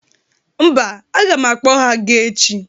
Mba, aga m akpọ ha ga echi